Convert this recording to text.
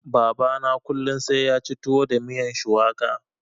Baba na kullun sai yaci tuwo da miyan shuwaka.